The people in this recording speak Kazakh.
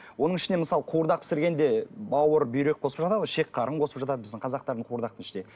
оның ішіне мысалы қуырдақ пісіргенде бауыр бүйрек қосып жатады ғой шек қарын қосып жатады біздің қазақтардың қуырдақтың ішіне